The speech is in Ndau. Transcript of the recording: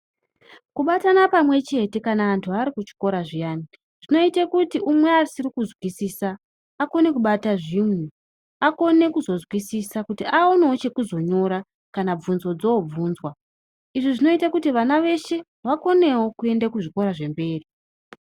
Kubatana pamwe chete kana andu ari kuchikora zviyani zvinoite kuti umwe asiri kunzwisisa akone kubata zvinhu akone kuzo nzwisisa kuti aonewo chekuzonyora kana bvunzo dzobvunzwa izvi zvinoite kuti vana veshe vakonewo kuende kuzvikora zvemberi.